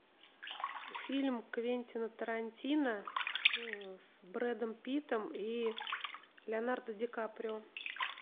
фильм квентина тарантино с брэдом питтом и леонардо ди каприо